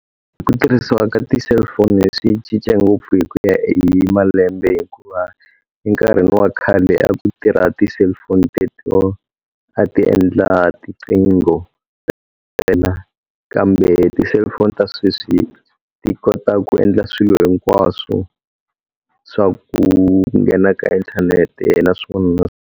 Ku tirhisiwa ka ti-cellphone swi cince ngopfu hi ku ya hi malembe hikuva, enkarhini wa khale a ku tirha ti-cellphone te to a ti endla tinqingho kambe ti-cellphone ta sweswi ti kota ku endla swilo hinkwaswo. Swa ku nghena ka inthanete .